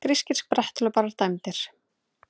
Grískir spretthlauparar dæmdir